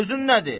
Sözün nədir?